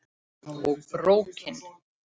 Og BRÓKIN!